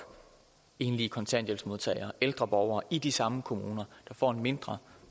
enlige kontanthjælpsmodtagere ældre borgere i de samme kommuner får en mindre